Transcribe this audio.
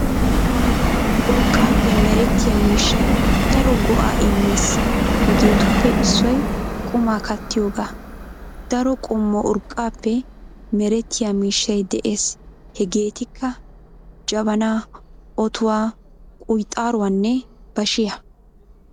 Urqqaappe merettiyaa miishshay daro go'aa immees hegeetuppe issoy qumaa kaattiyoogaa. Daro qommo urqqaappe merettiyaa miishshay de'ees hegeetikka :- jabanaa, otuwaa, kuyxaaruwaanne bashiyaa.